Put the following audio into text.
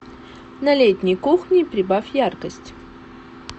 на летней кухне прибавь яркость